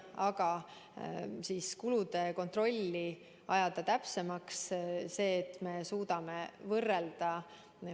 Aga kulude kontrolli saab täpsemaks muuta, nii et me suudame kulusid võrrelda.